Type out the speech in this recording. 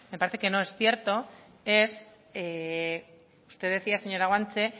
parece que no es cierto es que usted decía señora guanche